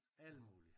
Alt muligt